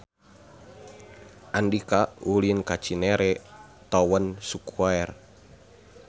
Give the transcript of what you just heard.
Andika ulin ka Cinere Town Square